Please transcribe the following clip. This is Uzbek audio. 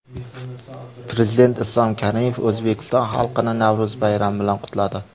Prezident Islom Karimov O‘zbekiston xalqini Navro‘z bayrami bilan qutladi.